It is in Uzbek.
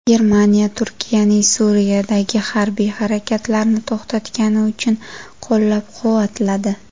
Germaniya Turkiyaning Suriyadagi harbiy harakatlarni to‘xtatgani uchun qo‘llab-quvvatladi.